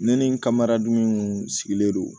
Ne ni n ka mara duman kun sigilen don